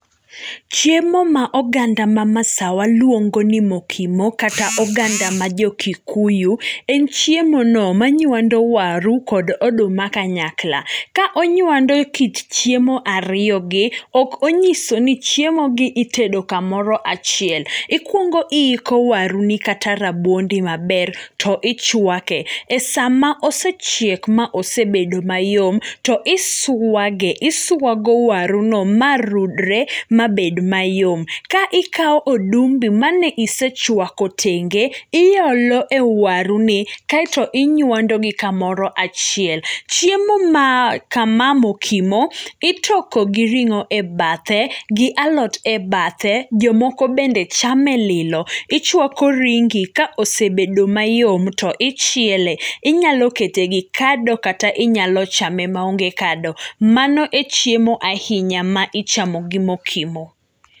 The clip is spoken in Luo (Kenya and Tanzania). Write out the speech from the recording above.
Chiemo ma oganda ma masawa luongo ni mokimo kata oganda ma jokikuyu, en chiemono ma nywando waru kod oduma kanyakla, ka onywando kit chiemo ariyogi, ok onyiso ni chiemogi itedo kamoro achiel, ikuongo iiko waruni kata rabuondi maber to ichwake, e sama osechiek ma osebedo mayom, to iswage, iswago waruno ma rudre ma bed mayom, ka ikawo odumbi ma ne isechwako tenge iolo e waruni kaeto inywandogi kamoro achiel. Chiemo ma kama mokimo itoko gi ring'o e bathe, gi alot e bathe jomoko bende chame lilo, ichwako ringi ka osebedo mayom to ichiele, inyalo kete gi kado kata inyalochame ma onge kado, mano e chiemo ahinya ma ichamo gi mokimo.